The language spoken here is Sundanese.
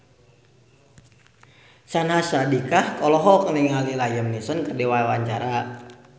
Syahnaz Sadiqah olohok ningali Liam Neeson keur diwawancara